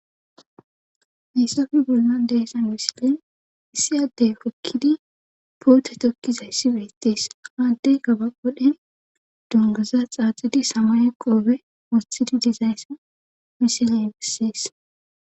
Hiysafe bollan deesan missilen issi addey hokkidi poote tokkizayssi beettees haaddey gaba wodhen dongaza xaaxidi samaye qoobe wothidi dizayssa miseley bessees